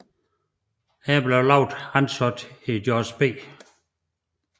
Her blev Laub ansat i George B